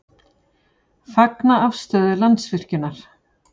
Fagna afstöðu Landsvirkjunar